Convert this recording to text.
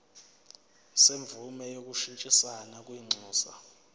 semvume yokushintshisana kwinxusa